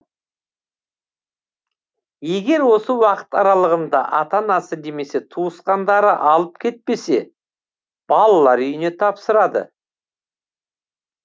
егер осы уақыт аралығында ата анасы немесе туысқандары алып кетпесе балалар үйіне тапсырады